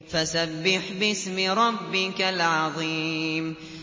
فَسَبِّحْ بِاسْمِ رَبِّكَ الْعَظِيمِ